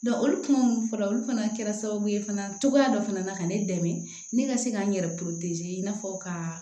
olu kuma minnu fɔra olu fana kɛra sababu ye fana cogoya dɔ fana na ka ne dɛmɛ ne ka se ka n yɛrɛ i n'a fɔ ka